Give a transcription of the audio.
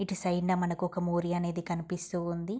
ఇట్టు సైడ్ నా మనకు ఒక మోరియా అనేది కనిపిస్తూ ఉంది.